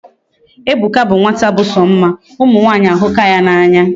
Ebuka bu nwata bu so mma. Umu nwanyi ahuka ya na anya